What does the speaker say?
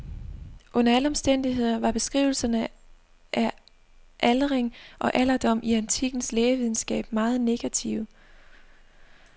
Under alle omstændigheder var beskrivelserne af aldring og alderdom i antikkens lægevidenskab meget negative.